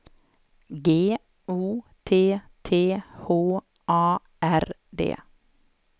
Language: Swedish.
G O T T H A R D